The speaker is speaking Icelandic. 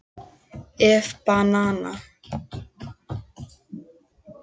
ef banana